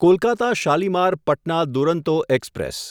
Kolkata Shalimar Patna Duronto express